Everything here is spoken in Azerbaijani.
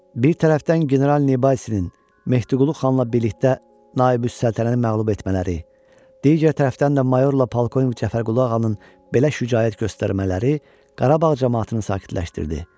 Bir tərəfdən general Nibasinin Mehdiqulu xanla birlikdə Naibüssəltəni məğlub etmələri, digər tərəfdən də mayorla polkovnik Cəfərqulu ağanın belə şücaət göstərmələri Qarabağ camaatını sakitləşdirdi.